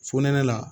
Fonɛnɛ la